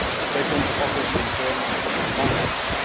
Second, offers in terms of financing.